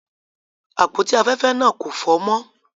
Àpótí afẹ́fẹ́ náà kò fọ́n-ọ́n mọ́.